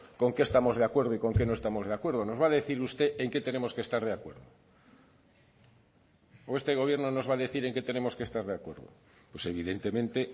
con qué estamos de acuerdo y con qué no estamos de acuerdo nos va a decir usted en qué tenemos que estar de acuerdo o este gobierno nos va a decir en qué tenemos que estar de acuerdo pues evidentemente